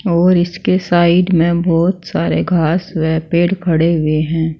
और इसके साइड में बहोत सारे घास व पेड़ खड़े हुए है।